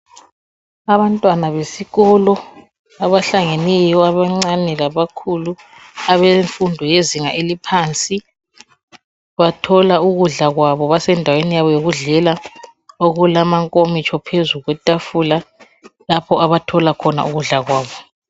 Abantwana besikolo abahlangeneyo abancane labakhulu abemfundo yezinga eliphansi. Bathola ukudla kwabo basendaweni yabo yokudlela okulamakomitsho phezu kwetafula lapha abathola khona ukudla kwabo.